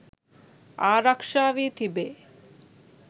ආරක්ෂා වී තිබේ.